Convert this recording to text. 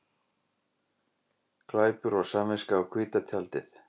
Glæpur og samviska á hvíta tjaldið